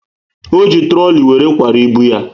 O ji trooli were kwara ibu ya